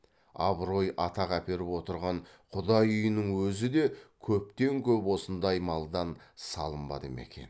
абырой атақ әперіп отырған құдай үйінің өзі де көптен көп осындай малдан салынбады ма екен